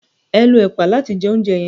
eo ló ẹpa làti jẹ ounjẹ yen.